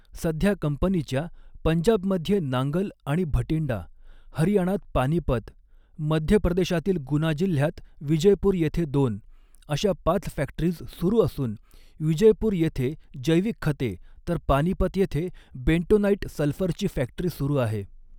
सध्या कंपनीच्या, पंजाबमध्ये नांगल आणि भटिंडा, हरीयाणात पानीपत, मध्यप्रदेशातील गुना जिल्ह्यात विजयपूर येथे दोन, अशा पाच फ़ॅक्टरीज सुरू असून विजयपूर येथे जैविक खते तर पानीपत येथे बेंटोनाईट सल्फरची फ़ॅक्टरी सुरु आहे.